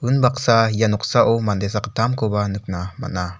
unbaksa ia noksao mande sakgittamkoba nikna man·a.